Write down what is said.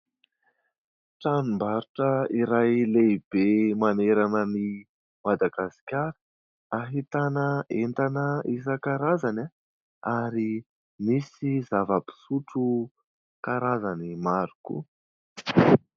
Tranombarotra iray lehibe manerana ny Madagasikara ; ahitana entana isan-karazany ary misy zava-pisotro karazany maro koa.